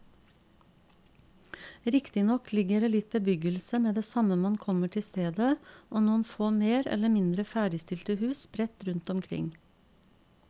Riktignok ligger det litt bebyggelse med det samme man kommer til stedet og noen få mer eller mindre ferdigstilte hus sprett rundt omkring.